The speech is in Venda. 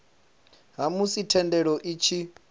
ha musi thendelo i tshi